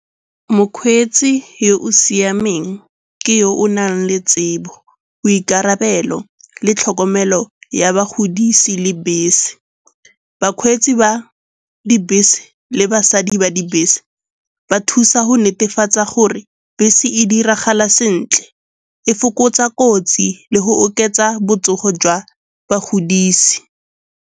Mokgweetsi yo o siameng ke yo o nang le tsebo, boikarabelo le tlhokomelo ya bagodise le bese. Bakgweetsi ba dibese le basadi ba dibese ba thusa go netefatsa gore bese e diragala sentle, e fokotsa kotsi le go oketsa botsogo jwa bagodisi.